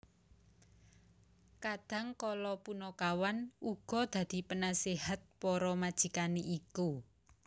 Kadang kala punakawan uga dadi penasihat para majikane iku